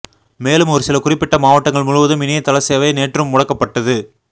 மேலும் ஒருசில குறிப்பிட்ட மாவட்டங்கள் முழுவதும் இணைய தள சேவை நேற்றும் முடக்கப்பட்டது